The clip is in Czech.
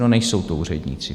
No, nejsou to úředníci.